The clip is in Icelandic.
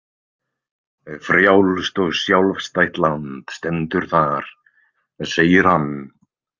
Frjálst og sjálfstætt land stendur þar, segir hann.